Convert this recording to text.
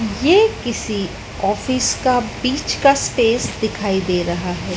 ये किसी ऑफिस का बीच का स्पेस दिखाई दे रहा है।